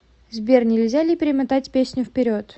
сбер нельзя ли перемотать песню вперед